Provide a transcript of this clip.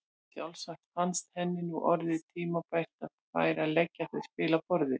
Sjálfsagt fannst henni nú orðið tímabært að ég færi að leggja þau spil á borðið!